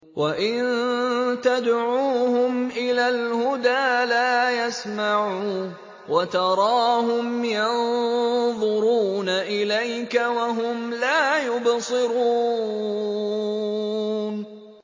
وَإِن تَدْعُوهُمْ إِلَى الْهُدَىٰ لَا يَسْمَعُوا ۖ وَتَرَاهُمْ يَنظُرُونَ إِلَيْكَ وَهُمْ لَا يُبْصِرُونَ